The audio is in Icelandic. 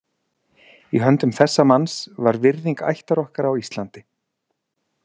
Í höndum þessa manns var virðing ættar okkar á Íslandi.